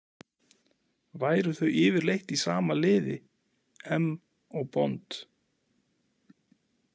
Væru þau yfirleitt í sama liði, M og Bond?